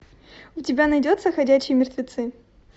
у тебя найдется ходячие мертвецы